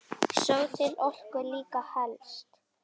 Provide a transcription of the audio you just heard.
Sá til orku líka telst.